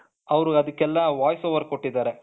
ಅವರು ಅದಕ್ಕೆಲ್ಲ voice over ಕೊಟ್ಟಿದ್ದಾರೆ.